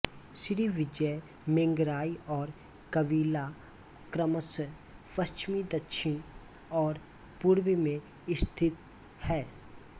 Srivijaya Mangrai और Kawila क्रमशः पश्चिम दक्षिण और पूर्व में स्थित है